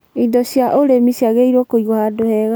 indo cia ũrĩmi ciagĩrĩirwo kũĩgwo handũ hega